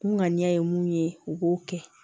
Kunkanni ye mun ye u b'o kɛ